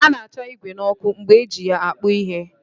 A na-acha igwè n'ọkụ mgbe eji ya akpụ ihe